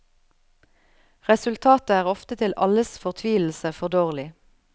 Resultatet er ofte til alles fortvilelse for dårlig.